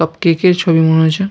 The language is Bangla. সব কেক -এর ছবি মনে হচ্ছে।